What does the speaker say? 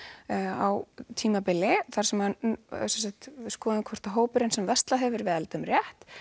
á tímabili skoðum hvort hópurinn sem verslar við eldum rétt